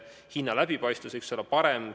Kas hinna läbipaistvus võiks olla parem?